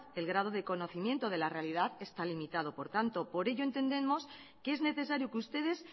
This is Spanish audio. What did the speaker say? el grado de conocimiento de la realidad está limitado por tanto por ello entendemos que es necesario que ustedes